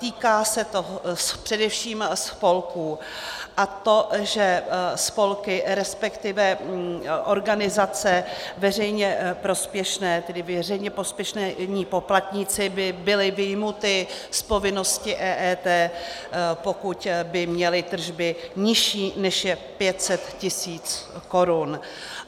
Týká se to především spolků, a to že spolky, respektive organizace veřejně prospěšné, tedy veřejně prospěšní poplatníci by byli vyjmuti z povinnosti EET, pokud by měli tržby nižší, než je 500 tisíc korun.